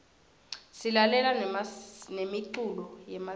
silalela nemiculo yemasiko